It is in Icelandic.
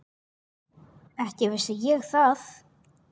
Ekki vissi ég það.